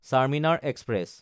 Charminar express